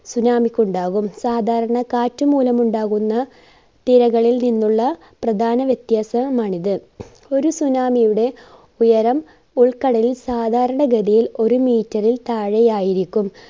tsunami ക്കുണ്ടാകും. സാധാരണ കാറ്റുമൂലമുണ്ടാകുന്ന തിരകളിൽ നിന്നുള്ള പ്രധാന വ്യത്യാസവുമാണിത്. ഒരു tsunami യുടെ ഉയരം ഉൾക്കടലിൽ സാധാരണഗതിയിൽ ഒരു meter ൽ താഴെയായിരിക്കും.